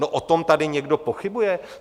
No o tom tady někdo pochybuje?